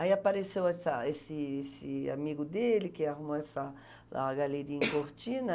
Aí apareceu essa essa esse amigo dele que arrumou essa lá a galeria em Cortina.